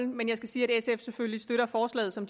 men jeg skal sige at sf selvfølgelig støtter forslaget som